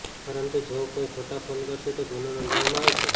પરંતુ જો કોઈ ખોટા ફોન કરશે તો ગુનો નોંધવામાં આવશે